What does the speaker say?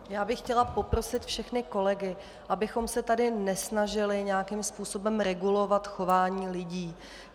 Já bych chtěla poprosit všechny kolegy, abychom se tady nesnažili nějakým způsobem regulovat chování lidí.